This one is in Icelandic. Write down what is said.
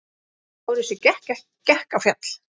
LÁRUS: Ég gekk á fjall.